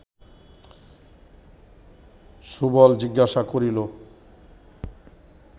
সুবল জিজ্ঞাসা করিল